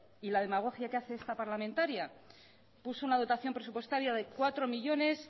y la demagogia que hace esta parlamentaria puso una dotación presupuestaria de cuatro millónes